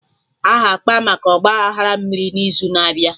Aha akpa maka Ọgba aghara mmiri n'izu na-abịa